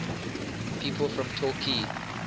people from torquay